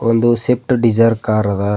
ಒಂದು swift dzire car ಅದ.